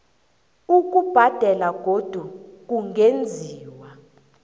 ukubhadela godu kungenziwa